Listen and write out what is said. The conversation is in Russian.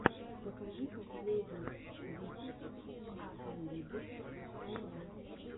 покажи последний выпуск экскалибурс хайлайтс